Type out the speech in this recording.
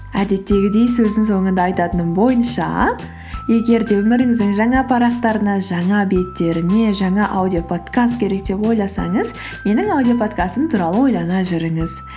әдеттегідей сөздің соңында айтатыным бойынша егер де өміріңіздің жаңа парақтарына жаңа беттеріне жаңа аудиоподкаст керек деп ойласаңыз менің аудиоподкастым туралы ойлана жүріңіз